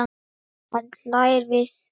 Hann hlær við.